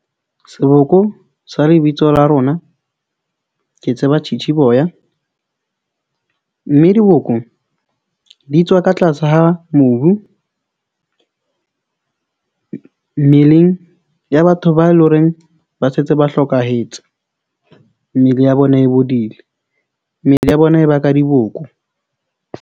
Seboko sa lebitso la rona, ke tseba . Mme diboko di tswa ka tlase ha mobu mmeleng ya batho ba eleng horeng ba setse ba hlokahetse. Mmele ya bona e bodile, mmele ya bona e ba ka diboko.